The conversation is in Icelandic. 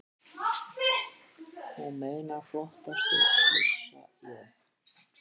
Þú meinar flottasti, flissa ég.